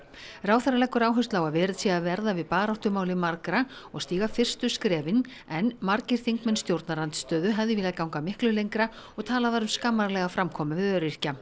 ráðherra leggur áherslu á að verið sé að verða við baráttumáli margra og stíga fyrstu skrefin en margir þingmenn stjórnarandstöðu hefðu viljað ganga miklu lengra og talað var um skammarlega framkomu við öryrkja